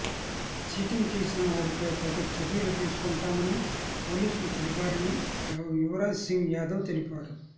cheating చేసిన వారిపై తగు చర్యలు తీసుకొంటామని పోలీసులు తెలిపారని యువరాజ్ సింగ్ యాదవ్ తెలిపారు